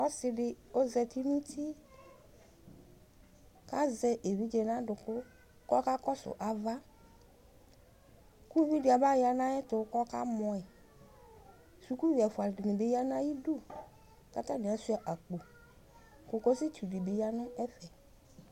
ɔsidi ɔzati nʋti azɛ evidze nadʋkʋ kɔka kɔsʋ ava kʋ ʋvidi abaya nayɛtʋ kɔka mɔi sukuvi ɛƒʋa di ya nata midʋ katani ashua akpo kokosidi ya nɛƒɛ